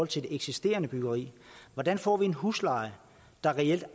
til det eksisterende byggeri hvordan får vi en husleje der reelt